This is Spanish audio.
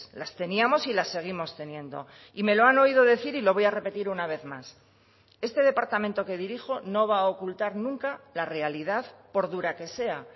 las teníamos y las seguimos teniendo y me lo han oído decir y lo voy a repetir una vez más este departamento que dirijo no va a ocultar nunca la realidad por dura que sea